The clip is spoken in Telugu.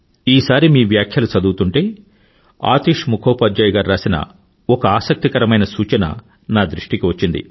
ఈసారి మీ వ్యాఖ్యలు చదువుతుంటే ఆతిష్ ముఖోపాధ్యాయ్ గారు రాసిన ఒక ఆసక్తికరమైన సూచన నా దృష్టికి వచ్చింది